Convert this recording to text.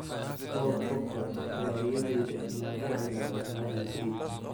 Paul Pogba: "Waa riyadeyda inaan u ciyaaro Real Madrid"